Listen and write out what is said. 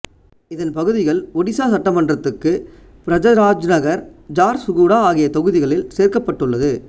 இதன் பகுதிகள் ஒடிசா சட்டமன்றத்துக்கு பிரஜராஜ்நகர் ஜார்சுகுடா ஆகிய தொகுதிகளில் சேர்க்கப்பட்டுள்ளது